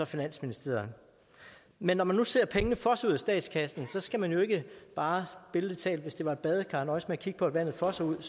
finansministeriet men når man nu ser pengene fosse ud af statskassen skal man jo ikke bare billedligt talt hvis det var et badekar nøjes med at kigge på at vandet fosser ud og